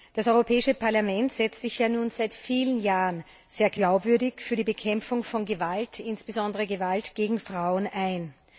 Das Europäische Parlament setzt sich ja nun seit vielen Jahren sehr glaubwürdig für die Bekämpfung von Gewalt, insbesondere Gewalt gegen Frauen, ein.